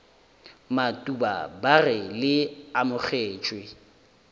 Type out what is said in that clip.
matuba ba re le amogetšwe